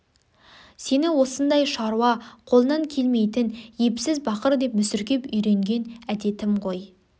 сені осындай шаруа қолынан келмейтін епсіз бақыр деп мүсіркеп үйренген әдетім ғой